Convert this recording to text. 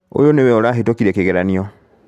ũyũ nĩwe ũrahĩtkire kĩgeranio